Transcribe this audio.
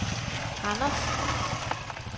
Randers